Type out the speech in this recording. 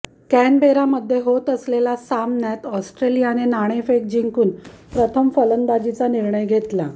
कॅनबेरामध्ये होत असलेल्या सामन्यात ऑस्ट्रेलियाने नाणेफेक जिंकून प्रथम फलंदाजीचा निर्णय घेतला